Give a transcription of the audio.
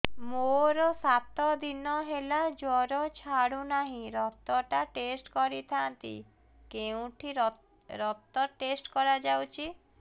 ମୋରୋ ସାତ ଦିନ ହେଲା ଜ୍ଵର ଛାଡୁନାହିଁ ରକ୍ତ ଟା ଟେଷ୍ଟ କରିଥାନ୍ତି କେଉଁଠି ରକ୍ତ ଟେଷ୍ଟ କରା ଯାଉଛି